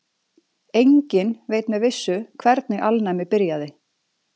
Enginn veit með vissu hvernig alnæmi byrjaði.